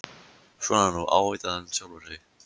Svona nú, ávítaði hann sjálfan sig.